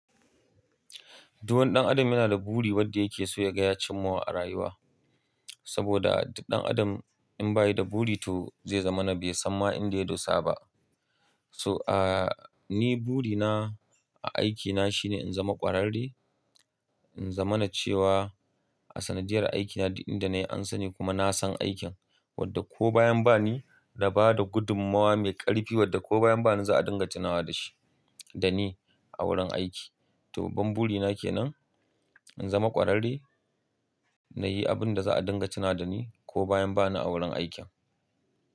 Duk wani ɗan adam yana da buri wadda yake so ya gaya cimmawa a rayuwa. Saboda duk adam in ba yi da buri to zai zamana bai san ma inda ya dosa ba. So, ah, ni buri na a aikina shine in zama ƙwararre, in zamana cewa a sanadiyar aikina duk inda na yi an sani kuma na san aikin. Wadda ko bayan ba ni na bada gudummawa mai ƙarfi, wadda ko bayan ba ni za a dinga tunawa da shi, da ni a wurin aiki. To, babban buri na kenan in zama ƙwararre, na yi abin da za a dinga tuna da ni ko bayan ba ni a wurin aikin.